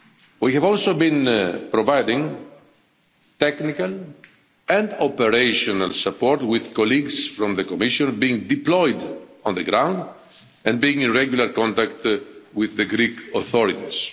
We have also been providing technical and operational support with colleagues from the Commission being deployed on the ground and being in regular contact with the Greek authorities.